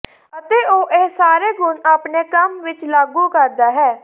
ਅਤੇ ਉਹ ਇਹ ਸਾਰੇ ਗੁਣ ਆਪਣੇ ਕੰਮ ਵਿਚ ਲਾਗੂ ਕਰਦਾ ਹੈ